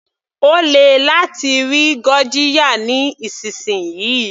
Ó lè láti rí gurjiya nísìnsisìyí.